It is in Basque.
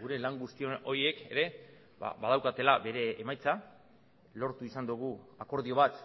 gure lan guztion horiek ere badaukatela bere emaitza lortu izan dugu akordio bat